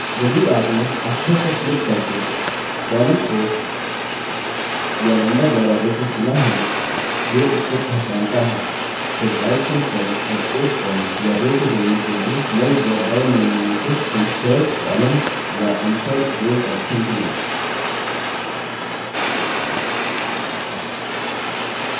यदि आपने अक्षर पर click करके column को या number द्वारा row को चुना है जो इसको पहचानता है फिर right click करें और एक column या row को जोड़ने के लिए नई ड्रॉपडाउन menu में से insert columns या insert rows option चुनें